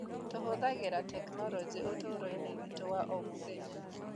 Tũhũthagĩra tekinoronjĩ ũtũũro-inĩ witũ wa o mũthenya